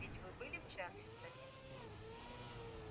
ведь вы были в чарльстоне